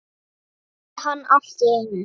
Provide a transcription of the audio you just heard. spurði hann allt í einu.